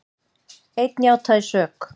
Einn játaði sök